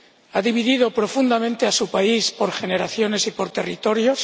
ha dividido profundamente a su país por generaciones y por territorios